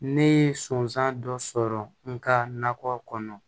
Ne ye sɔnsan dɔ sɔrɔ n ka nakɔ kɔnɔ